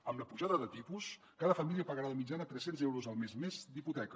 amb la pujada de tipus cada família pagarà de mitjana trescents euros al mes més d’hipoteca